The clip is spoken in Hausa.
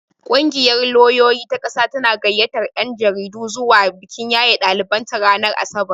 Kungiyar lauyoyi ta ƙasa tana gayyatar 'yan jaridu zuwa bikin yaye daliban ta ranar asabar.